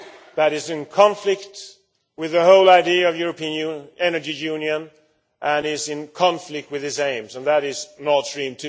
that is in conflict with the whole idea of the European Energy Union and in conflict with its aims, and that is Nord Stream